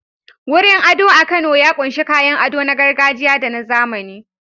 Wurin ado a Kano ya ƙunshi kayan ado na gargajiya da na zamani.